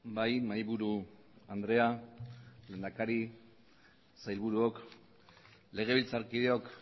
bai mahaiburu andrea lehendakari sailburuok legebiltzarkideok